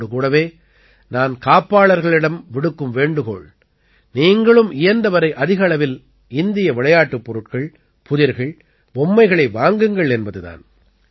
இதோடு கூடவே நான் காப்பாளர்களிடம் விடுக்கும் வேண்டுகோள் நீங்களும் இயன்றவரை அதிக அளவில் இந்திய விளையாட்டுப் பொருட்கள் புதிர்கள் பொம்மைகளை வாங்குங்கள் என்பது தான்